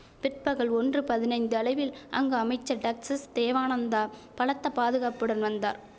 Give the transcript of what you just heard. பிற்பகல் ஒன்று பதினைந்து அளவில் அங்கு அமைச்சர் டக்ஜஸ் தேவானந்தா பலத்த பாதுகாப்புடன் வந்தார்